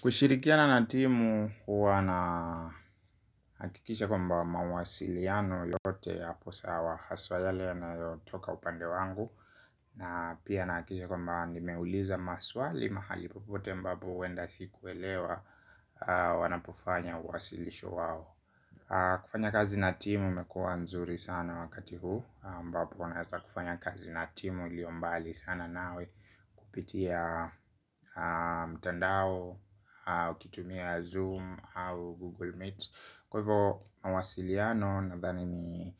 Kushirikiana na timu, huwa na hakikisha kwamba mawasiliano yote yapo sawa haswa yale anayotoka upande wangu na pia nahakikisha kwamba nimeuliza maswali mahali popote ambapo huenda sikuelewa wanapo fanya uwasilisho wao kufanya kazi na timu imekua nzuri sana wakati huu ambapo naweza kufanya kazi na timu ilio mbali sana nawe kupitia mtandao au kitumia Zoom au Google Meet. Kwa hivyo mawasiliano nadhani ni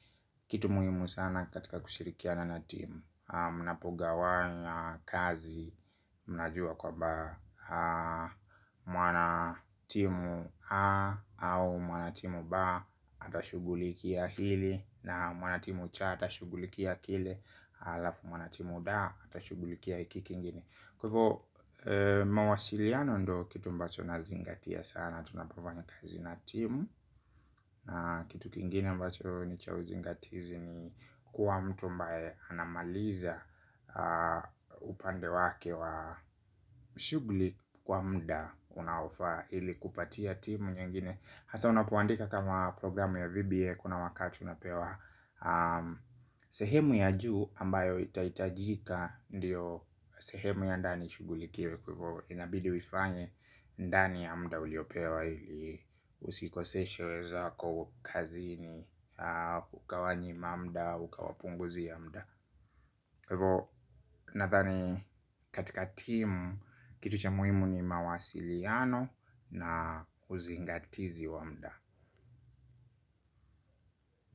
kitu muhimu sana katika kushirikiana na timu. Mnapogawanya kazi. Mnajua kwamba mwana timu a au mwanatimu ba atashugulikia hili. Na mwanatimu cha atashugulikia kile. Alafu mwanatimu da atashugulikia hiki kingine. Kwa hivyo mawasiliano ndio kitu mbacho nazingatia sana tunapofanya kazi na timu. Kitu kingine mbacho ni cha uzingatizi ni kua mtu mbae anamaliza. Upande wake wa shughuli kwa mda unaofaa ili kupatia timu nyengine hasa unapuandika kama programu ya VBA. Kuna wakati unapewa sehemu ya juu ambayo itaitajika ndiyo sehemu ya ndani ishughuli kiwe kwaivyo inabidi uifanye ndani ya mda uliopewa. Usikoseshe wenzako kazini. Ukawanyima mda au ukawapunguzia mda kwa hivyo nadhani katika timu kitu cha muimu ni mawasiliano na kuzingatizi wa mda.